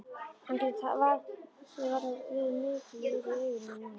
Hann getur varla verið mikils virði í augum hennar núna.